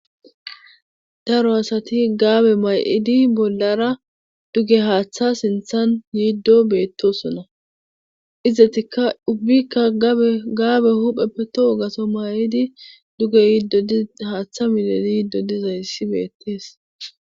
Daro asati gaabe may7idi bollara duge haaththa sinthan yiiddo beettosona izzetikka dubbikka egaabe hupheppe to hogaso may7idi duge yiddohaaththa miledi yiido dizayssi beettees.